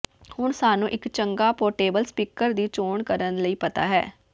ਹੁਣ ਸਾਨੂੰ ਇਕ ਚੰਗਾ ਪੋਰਟੇਬਲ ਸਪੀਕਰ ਦੀ ਚੋਣ ਕਰਨ ਲਈ ਪਤਾ ਹੈ